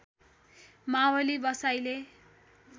Mavli बसाइले